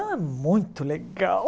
Era é muito legal.